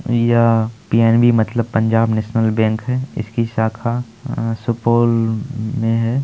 यह पी.एन.बी. मतलब Punjab national bank है। इसकी साखा अ सुपोल में है।